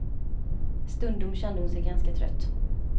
Stundom kände hon sig ganska trött.